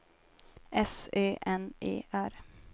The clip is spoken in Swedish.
S Ö N E R